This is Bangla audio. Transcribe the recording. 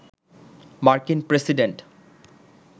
মার্কিন প্রেসিডেন্ট